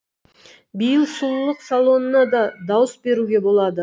биыл сұлулық салонына да дауыс беруге болады